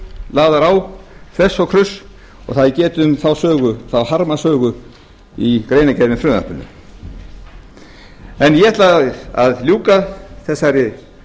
lagðar á þvers og kruss og það er getið um þá harmasögu í greinargerð með frumvarpinu ég ætla að ljúka þessari